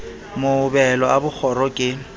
mohobelo a b kgoro ke